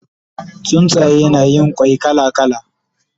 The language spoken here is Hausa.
Tsuntsaye na Yin kwai kala kala